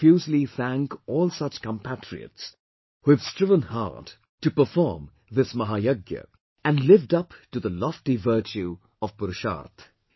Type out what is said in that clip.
I profusely thank all such compatriots who have striven hard to perform this MAHAYAGYA, and lived up to the lofty virtue of PURUSHARTH